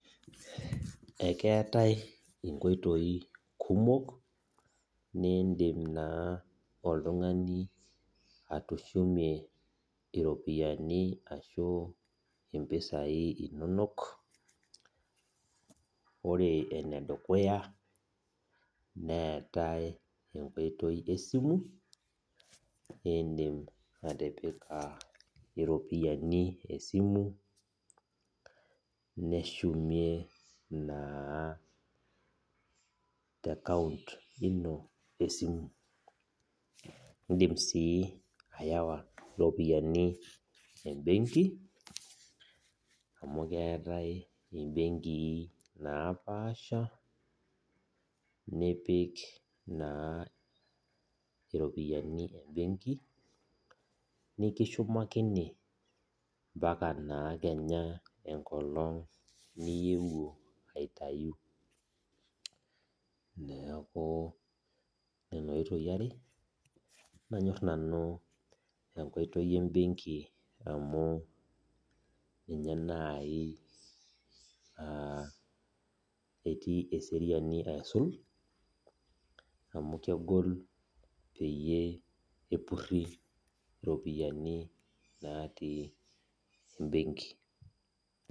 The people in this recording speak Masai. Akeetae nkoitoi kumok nidim na oltungani atishumie ropiyani ashu mpisai inonol ore enedukuya neetae enkoitoi esimu indim atipika ropiyani esimu nishmie te account esimu indim si atipika ropiyani embenki amu keetai imbenkii napaasha nipik naa ropiyani embenki nikishumakini ambaka na enkolong niyewuo aitau neaku nona nkoitoi are are nanyor nanu enkoitoi embenki amu ninye nai aa etii eseriani aisul amu kegol peyie epuri topi natii embenki.